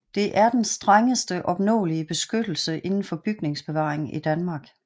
Det er den strengeste opnåelige beskyttelse inden for bygningsbevaring i Danmark